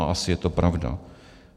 A asi je to pravda.